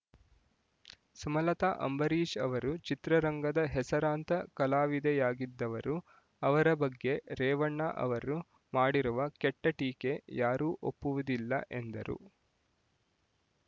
ಸುಮಲತಾ ಅಂಬರೀಷ್ ಅವರು ಚಿತ್ರರಂಗದ ಹೆಸರಾಂತ ಕಲಾವಿದೆಯಾಗಿದ್ದವರು ಅವರ ಬಗ್ಗೆ ರೇವಣ್ಣ ಅವರು ಮಾಡಿರುವ ಕೆಟ್ಟ ಟೀಕೆ ಯಾರೂ ಒಪ್ಪುವುದಿಲ್ಲ ಎಂದರು